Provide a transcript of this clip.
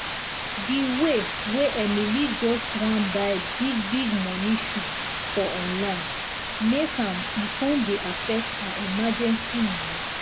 di way way emily just wan buy big big money shoe for online make am e con dey affect her emergency money